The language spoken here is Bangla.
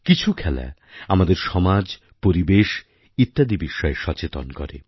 কিছু খেলা আমাদের সমাজ পরিবেশ ইত্যাদি বিষয়ে সচেতন করে